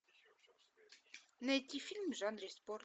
найти фильм в жанре спорт